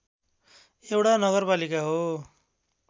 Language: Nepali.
एउटा नगरपालिका हो